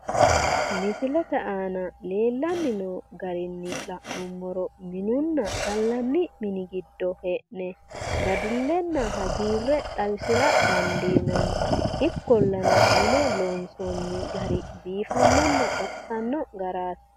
Misilete aana leellanni noo garinni la'nummoro minunna gallanni mini giddo hee'ne dadillenna hagiirre xawisira dandiinanni. Ikkollana mine loonsoonni gari biifannonna baxisanno garaati.